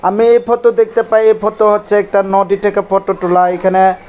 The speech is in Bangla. আমি এই ফতো দেখতে পাই এই ফতো হচ্ছে একটা নদী থেকে ফটো তোলা এইখানে--